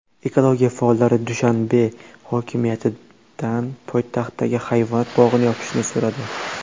Ekologiya faollari Dushanbe hokimidan poytaxtdagi hayvonot bog‘ini yopishni so‘radi.